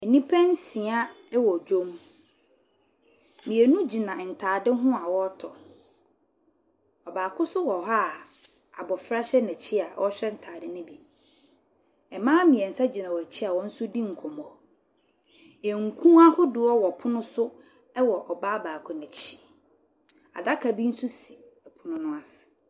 Nnipa nsia wɔ dwam. Mmienu gyina ntadeɛ ho a wɔretɔ. Ɔbaako nso wɔ ha a abɔfra hyɛ n'akyi a ɔrehwɛ ntadeɛ no bi. Mmaa mmensa gyina wɔn akyi a wɔn nso redi nkɔmmɔ. Nku ahodoɔ wɔ pono so wɔ ɔbaa baako no akyi. Adaka bi nso si pono no ase.